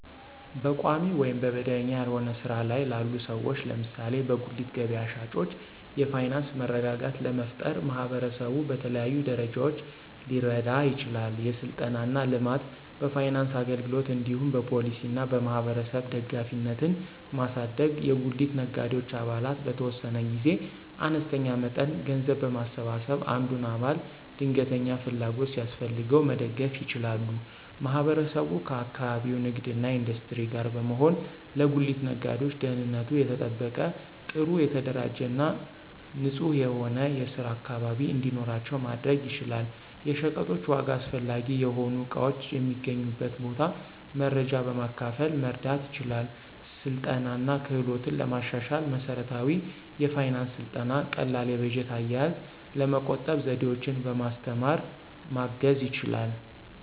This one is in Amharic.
በቋሚ ወይም መደበኛ ያልሆነ ሥራ ላይ ላሉ ሰዎች (ለምሳሌ በጉሊት ገበያ ሻጮች) የፋይናንስ መረጋጋት ለመፍጠር ማህበረሰቡ በተለያዩ ደረጃዎች ሊረዳ ይችላል። የሥልጠና እና ልማት፣ በፋይናንስ አገልግሎት እንዲሁም በፖሊሲ እና በማህበረሰብ ደጋፊነትን ማሳደግ። የጉሊት ነጋዴዎች አባላት በተወሰነ ጊዜ አነስተኛ መጠን ገንዘብ በማሰባሰብ አንዱን አባል ድንገተኛ ፍላጎት ሲያስፈልገው መደገፍ ይችላሉ። ማህበረሰቡ ከአካባቢው ንግድ እና ኢንዱስትሪ ጋር በመሆን ለጉሊት ነጋዴዎች ደህንነቱ የተጠበቀ፣ ጥሩ የተደራጀ እና ንጹህ የሆነ የስራ አካባቢ እንዲኖራቸው ማድረግ ይችላል። የሸቀጦች ዋጋ፣ አስፈላጊ የሆኑ እቃዎች የሚገኙበት ቦታ መረጃ በማካፈል መርዳት ይችላል። ስልጠና እና ክህሎትን ለማሻሻል መሠረታዊ የፋይናንስ ሥልጠና ቀላል የበጀት አያያዝ፣ ለመቆጠብ ዘዴዎችን በማስተማር ማገዝ ይችላል።